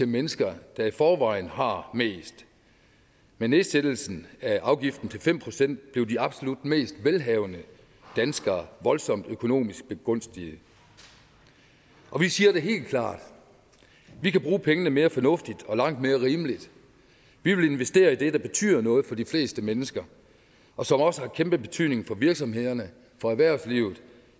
mennesker der i forvejen har mest med nedsættelsen af afgiften til fem procent blev de absolut mest velhavende danskere voldsomt økonomisk begunstiget og vi siger det helt klart vi kan bruge pengene mere fornuftigt og langt mere rimeligt vi vil investere i det der betyder noget for de fleste mennesker og som også har kæmpe betydning for virksomhederne for erhvervslivet